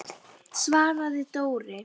svaraði Dóri.